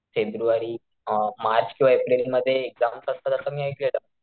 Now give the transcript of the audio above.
February अ March किंवा April मध्ये एक्साम्स संपतात असं मी ऐकलेलं.